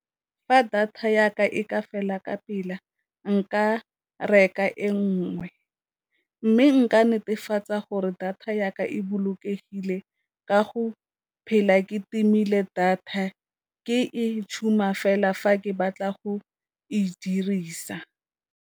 Fa data ya ka e ka fela ka nka reka e nngwe, mme nka netefatsa gore data ya ka e bolokegile ka go phela ke timile data ke e fela fa ke batla go e dirisa.